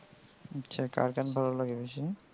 আচ্ছা কার গান ভালো লাগে ভীষণ?